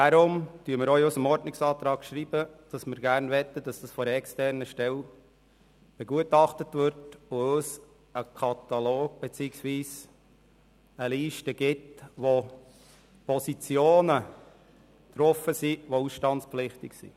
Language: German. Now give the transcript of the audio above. Darum schreiben wir in unserem Ordnungsantrag, dass wir dies gern von einer externen Stelle begutachten lassen würden, die uns einen Katalog beziehungsweise eine Liste mit ausstandspflichtigen Positionen erstellen kann.